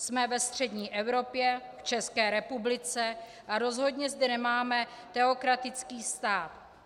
Jsme ve střední Evropě, v České republice, a rozhodně zde nemáme teokratický stát.